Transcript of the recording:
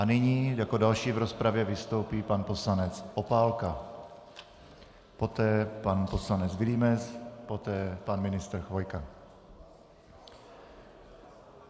A nyní jako další v rozpravě vystoupí pan poslanec Opálka, poté pan poslanec Vilímec, poté pan ministr Chvojka.